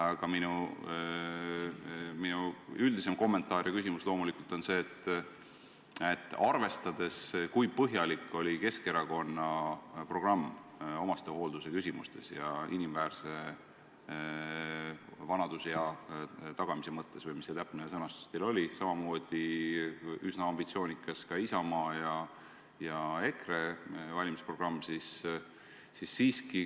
Aga minu üldisem kommentaar ja küsimus on selle kohta, et Keskerakonna programm omastehoolduse ja inimväärse vanaduspõlve tagamise osas – või mis see täpne sõnastus teil oligi – on samamoodi üsna ambitsioonikas, nagu ka Isamaa ja EKRE valimisprogramm.